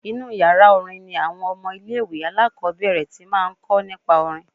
Inú yàrá orin ni àwọn ọmọ ilé-ìwé alákọ́bẹ̀rẹ̀ ti máa ń kọ́ nípa orin